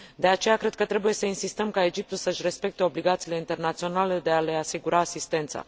De aceea, cred că trebuie să insistăm ca Egiptul să își respecte obligațiile internaționale de a le asigura asistență.